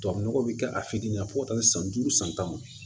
Tubabu nɔgɔ bɛ kɛ a fitinin fɔ taa se san duuru san tan